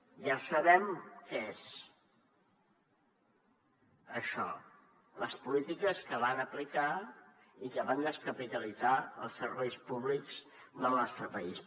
ja sabem què és això les polítiques que van aplicar i que van descapitalitzar els serveis públics del nostre país